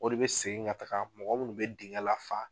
O de bɛ segin ka taaga mɔgɔ munnu bɛ dingɛ lafa.